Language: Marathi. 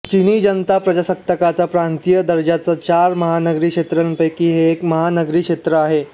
चिनी जनताप्रजासत्ताकाच्या प्रांतीय दर्जाच्या चार महानगरी क्षेत्रांपैकी हे एक महानगरी क्षेत्र आहे